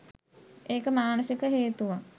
ඒක මානුෂික හේතුවක්.